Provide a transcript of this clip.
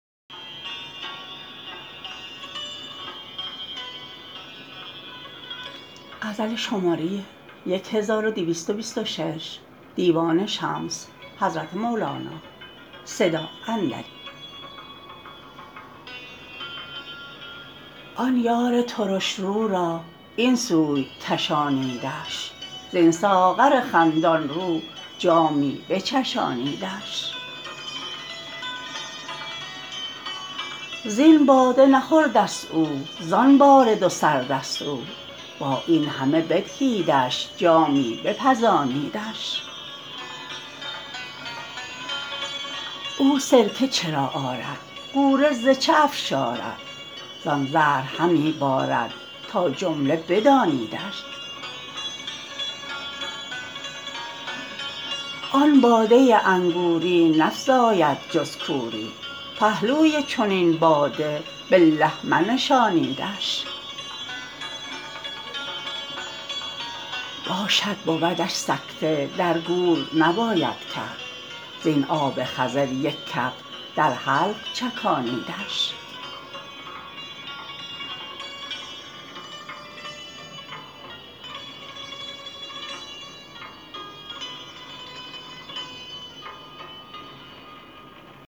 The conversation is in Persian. آن یار ترش رو را این سوی کشانیدش زین ساغر خندان رو جامی بچشانیدش زین باده نخوردست او زان بارد و سردست او با این همه بدهیدش جامی بپزانیدش او سرکه چرا آرد غوره ز چه افشارد زان زهر همی بارد تا جمله بدانیدش آن باده انگوری نفزاید جز کوری پهلوی چنین باده بالله منشانیدش باشد بودش سکته در گور نباید کرد زین آب خضر یک کف در حلق چکانیدش